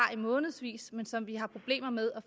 i månedsvis men som vi har problemer med